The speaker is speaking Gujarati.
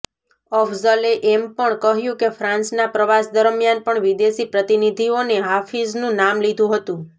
અફઝલે એમ પણ કહ્યું કે ફ્રાન્સના પ્રવાસ દરમિયાન પણ વિદેશી પ્રતિનિધિઓએ હાફિઝનું નામ લીધુ હતું